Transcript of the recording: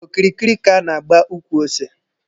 Okirikiri ka a na-agba ukwu ose.